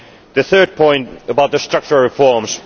The third point is about the structural reforms.